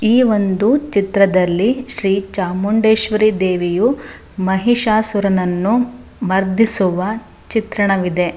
ಈ ಒಂದು ಚಿತ್ರದಲ್ಲಿ ಶ್ರೀ ಚಾಮುಂಡೇಶ್ವರಿ ದೇವಿಯು ಮಹಿಷಾಸುರನನ್ನು ಮರ್ದಿಸುವ ಚಿತ್ರಣವಿದೆ.